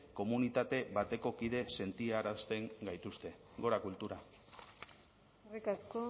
komunitate bateko kideek sentiarazten gaituzte gora kultura eskerrik asko